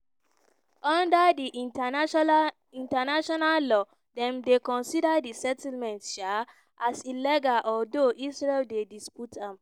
under di international law dem dey consider di settlements um as illegal although israel dey dispute am.